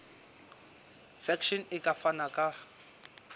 section e ka fana ka